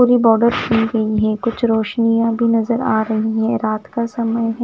पूरी border pink pink है कुछ रोशनियाँ भी नज़र आरही है रात का समय है।